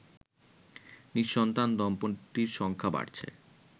নি:সন্তান দম্পতির সংখ্যা বাড়ছে